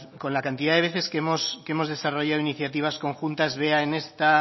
con la cantidad de veces que hemos desarrollado iniciativas conjuntas vea en esta